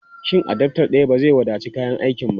Shin adaftar daya ba zai wadaci kayan aikin ba?